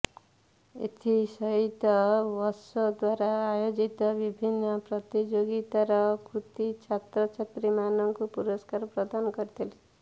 ଏଥି ସହିତ ୱସ୍ୱ ଦ୍ୱାରା ଆୟୋଜିତ ବିଭିନ୍ନ ପ୍ରତିଯୋଗିତାର କୃତୀ ଛାତ୍ରଛାତ୍ରୀମାନଙ୍କୁ ପୁରସ୍କାର ପ୍ରଦାନ କରିଥିଲେ